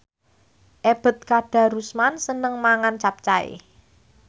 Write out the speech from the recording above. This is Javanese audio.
Ebet Kadarusman seneng mangan capcay